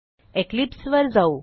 Eclipse वर जाऊ